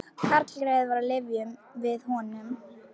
Karlgreyið er á lyfjum við honum